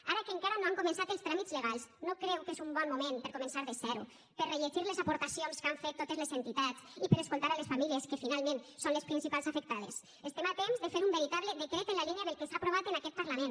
ara que encara no han començat els tràmits legals no creu que és un bon moment per a començar de zero per a rellegir les aportacions que han fet totes les entitats i per a escoltar les famílies que finalment són les principals afectades estem a temps de fer un veritable decret en la línia del que s’ha aprovat en aquest parlament